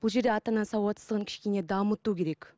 бұл жерде ата ананың сауатсыздығын кішкене дамыту керек